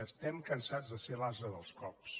estem cansats de ser l’ase dels cops